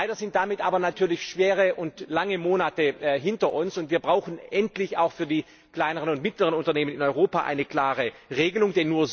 Leider liegen damit aber natürlich schwere und lange Monate hinter uns, und wir brauchen endlich auch für die kleineren und mittleren Unternehmen in Europa eine klare Regelung.